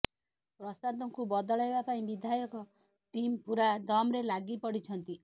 ପ୍ରସାଦଙ୍କୁ ବଦଳାଇବା ପାଇଁ ବିଧାୟକ ଟିମ୍ ପୁରା ଦମ୍ରେ ଲାଗିପଡ଼ିଛନ୍ତି